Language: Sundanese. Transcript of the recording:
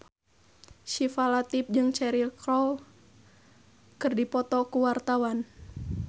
Syifa Latief jeung Cheryl Crow keur dipoto ku wartawan